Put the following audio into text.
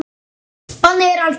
Bannið er algert.